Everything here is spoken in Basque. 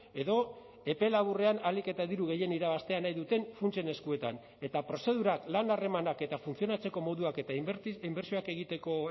edo epe laburrean ahalik eta diru gehien irabaztea nahi duten funtsen eskuetan eta prozedurak lan harremanak eta funtzionatzeko moduak eta inbertsioak egiteko